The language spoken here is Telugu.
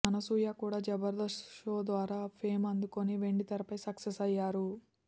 అనసూయ కూడా జబర్ధస్త్ షో ద్వారా ఫేమ్ అందుకొని వెండితెరపై సక్సెస్ అయ్యారు